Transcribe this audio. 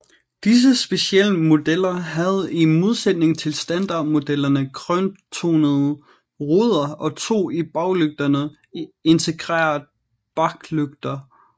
Disse specialmodeller havde i modsætning til standardmodellerne grøntonede ruder og to i baglygterne integrerede baklygter